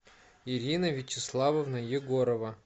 ирина вячеславовна егорова